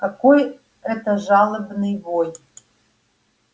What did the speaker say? какой это жалобный вой